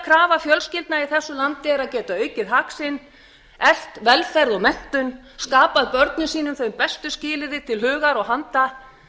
krafa fjölskyldna í þessu landi er að geta aukið hag sinn eflt velferð og menntun skapað börnum sínum þau bestu skilyrði til hugar og handa